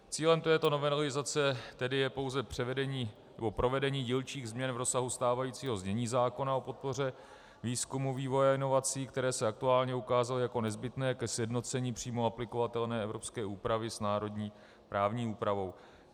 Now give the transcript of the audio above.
Cílem této novelizace tedy je pouze provedení dílčích změn v rozsahu stávajícího znění zákona o podpoře výzkumu, vývoje a inovací, které se aktuálně ukázaly jako nezbytné ke sjednocení přímo aplikovatelné evropské úpravy s národní právní úpravou.